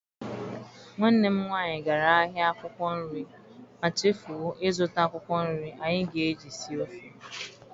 Nwanne m nwaanyị gara ahịa akwụkwọ nri ma chefuo ịzụta akwụkwọ nri anyị ga-eji sie ofe.